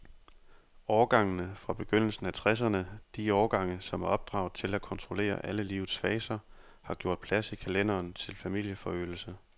Årgangene fra begyndelsen af tresserne, de årgange, som er opdraget til at kontrollere alle livets faser, har gjort plads i kalenderen til familieforøgelse.